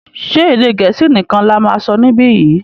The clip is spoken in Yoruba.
ṣe Èdè Gẹ̀ẹ́sì nìkàn là má sọ nibiyi?